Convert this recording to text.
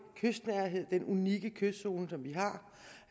kystnærhed den unikke kystzone som vi har